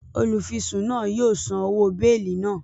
Olufisun náà yóò sàn òwò beeli náà